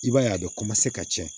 I b'a ye a bɛ ka cɛn